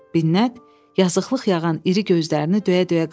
Binət yazıqlıq yağan iri gözlərini döyə-döyə qaldı.